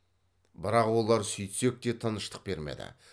бірақ олар сөйтсек те тыныштық бермеді